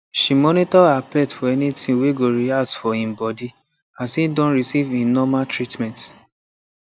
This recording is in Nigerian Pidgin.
she monitor her pet for any thing wey go react for e body as e don receive e normal treatment